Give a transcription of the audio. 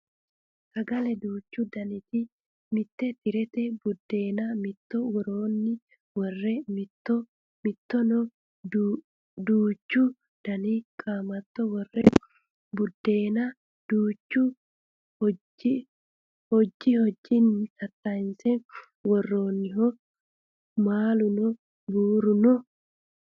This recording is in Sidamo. sagale duuchu daniti mitte tirete buddeena mitto woroonni worre hattono duuchu dani qaamatto worre buddeena duucha hojji hojjinni tattayiinse worroonniho maaluno buru no